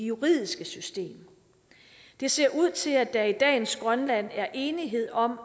juridiske system det ser ud til at der i dagens grønland er enighed om